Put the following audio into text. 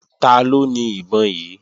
Taló ni ìbọn yí?